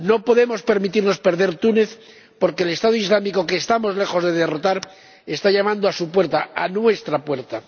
No podemos permitirnos perder Túnez, porque el Estado Islámico que estamos lejos de derrotar está llamando a su puerta, a nuestra puerta.